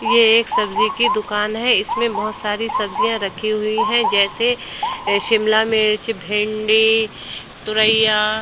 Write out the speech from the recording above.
यह एक सब्जी की दुकान है। इसमें बोहोत सारी सब्जियां रखी हुई हैं जैसे शिमला मिर्च भिंडी तुरैया।